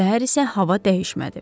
Səhər isə hava dəyişmədi.